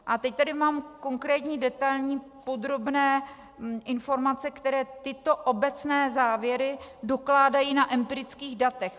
A teď tady mám konkrétní detailní, podrobné informace, které tyto obecné závěry dokládají na empirických datech.